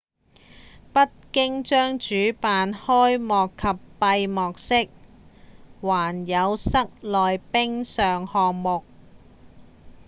北京將主辦開幕及閉幕式還有室內冰上項目